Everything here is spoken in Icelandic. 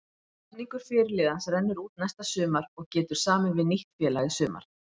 Samningur fyrirliðans rennur út næsta sumar og getur samið við nýtt félag í sumar.